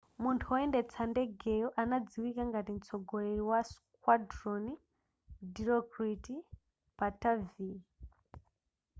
munthu woyendetsa ndegeyo anadziwika ngati mtsogoleri wa squadron dilokrit pattavee